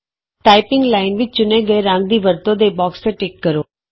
typing line ਵਿਚ ਚੁਣੇ ਗਏ ਰੰਗ ਦੀ ਵਰਤੋਂ ਦੇ ਬੌਕਸ ਤੇ ਟਿਕ ਕਰੋ